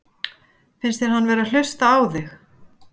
Finnst þér hann vera að hlusta á þig?